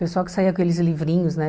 Pessoal que saía com aqueles livrinhos, né?